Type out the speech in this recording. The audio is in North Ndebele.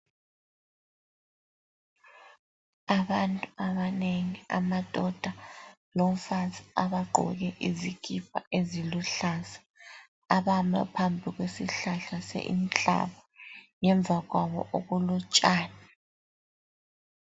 Abantu abanengi amadoda lomfazi abagqoke izikipa eziluhlaza. Abame phambi kwesihlahla senhlaka. Ngemva kwabo okulotshani.